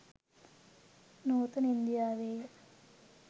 නූතන ඉන්දියාවේ ය.